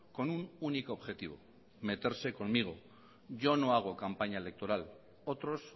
con un único objetivo meterse conmigo yo no hago campaña electoral otros